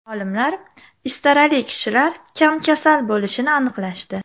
Olimlar istarali kishilar kam kasal bo‘lishini aniqlashdi.